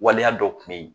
Waleya dɔ kun bɛ yen